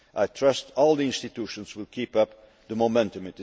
I trust all the institutions will keep up the momentum.